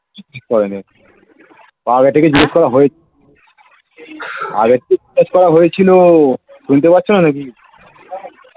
কিছু করে নি আগে থেকে জিজ্ঞাসা করা হয়েছিল আগে থেকে জিজ্ঞাসা করা হয়েছিল শুনতে পাচ্ছ না নাকি